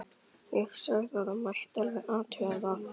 Ég sagði að það mætti alveg athuga það.